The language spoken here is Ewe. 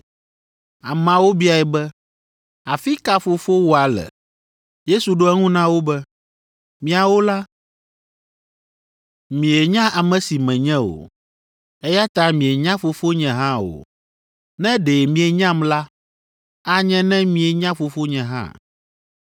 Ameawo biae be, “Afi ka fofowòa le?” Yesu ɖo eŋu na wo be, “Miawo la, mienya ame si menye o, eya ta mienya Fofonye hã o. Ne ɖe mienyam la, anye ne mienya Fofonye hã.”